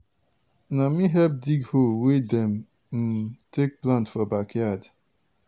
na me help dig hole wey dem um take plant for backyard.